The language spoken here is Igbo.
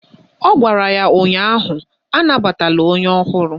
Ọ gwara ya ụnyaahụ "Anabatala onye ọhụrụ"!